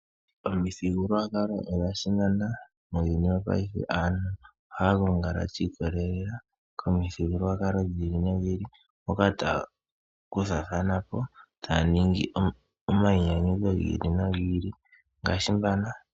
Omithigululwakalo odha simana, muuyuni wo paife aantu ohaya gongala shi ikolelela ko mithigululwakalo dhi ili nodhi ili. Mpoka taya kuthathana po taya ningi omainyanyudho gi ili nogi ili